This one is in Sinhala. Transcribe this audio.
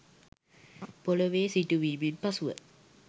පොළවේ සිටුවීමෙන් පසුව